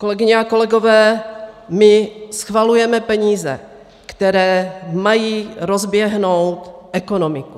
Kolegyně a kolegové, my schvalujeme peníze, které mají rozběhnout ekonomiku.